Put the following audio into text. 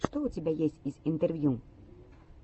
что у тебя есть из интервью